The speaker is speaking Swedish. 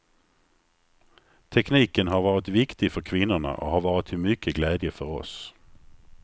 Tekniken har varit viktig för kvinnorna och har varit till mycket glädje för oss.